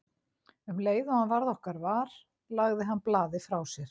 Um leið og hann varð okkar var lagði hann blaðið frá sér.